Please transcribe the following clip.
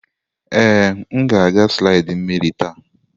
Ee, m na-aga slidi mmiri taa.